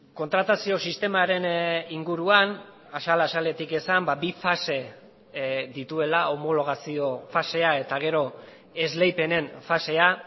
kontratazio sistemaren inguruan azal azaletik esan bi fase dituela homologazio fasea eta gero esleipenen fasea